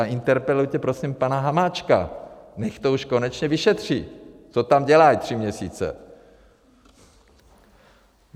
A interpelujte prosím pana Hamáčka, nech to už konečně vyšetří, co tam dělají tři měsíce.